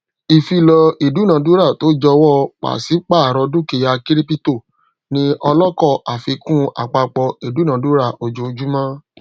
ìfilọ idunadurato jọwọ pàsípàrọ dukia kiripito ni ọlọkọ àfikún àpapọ idunadura ojojumọ